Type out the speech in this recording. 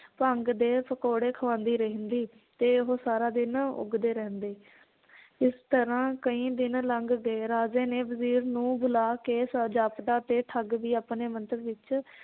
ਭੰਗ ਦੇ ਪਕੌੜੇ ਖਵਾਂਦੀ ਰਹਿੰਦੀ ਤੇ ਉਹ ਸਾਰਾ ਦਿਨ ਉੱਗਦੇ ਰਹਿੰਦੇ ਇਸ ਤਰਾਂ ਕਈ ਦਿਨ ਲੰਘ ਗਏ ਰਾਜੇ ਨੇ ਵਜ਼ੀਰ ਨੂੰ ਬੁਲਾ ਕੇ ਜਾਪਦਾ ਤੇ ਠੱਗ ਵੀ ਆਪਣੇ ਮੰਤਵ ਵਿਚ